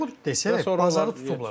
Çovub desək bazarı tutublar.